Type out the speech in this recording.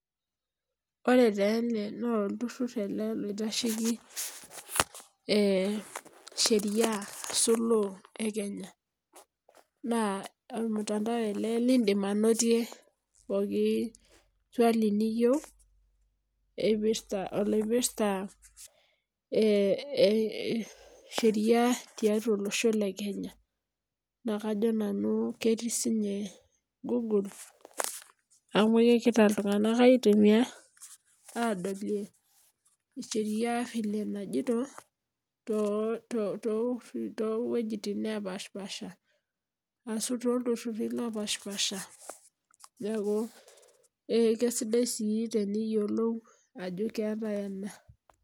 Ore taa ene naa olturur loitasheki eh Sheria ashu law e Kenya naa ormutandao ele leidim anotie pookin swali niyieu epirta oloipirta eh Sheria ti atua olosho le kenya . Naa kajo nanu ketii sinye google amu kegira iltunganak aitumia adolie Sheria vile najito too weujitin napashipasha, ashu toltururi lopashipasha neaku eh kesidai sii teniyiolou ajo keetae ena.